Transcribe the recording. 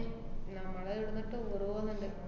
നമ്മള് ഇവട്ന്ന് tour പോന്ന്ണ്ട്.